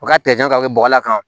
U ka ka kɛ bɔgɔ la tan